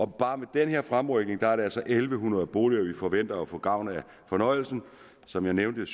bare med den her fremrykning er det altså en tusind en hundrede boliger vi forventer får gavn af forhøjelsen og som jeg nævnte